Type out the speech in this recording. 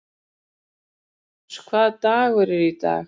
Elentínus, hvaða dagur er í dag?